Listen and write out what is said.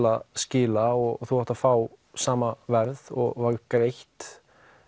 að skila og þú átt að fá sama verð og var greitt